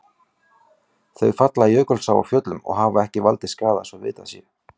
Þau falla í Jökulsá á Fjöllum og hafa ekki valdið skaða svo vitað sé.